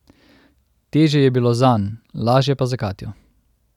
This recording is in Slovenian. Težje je bilo zanj, lažje pa za Katjo.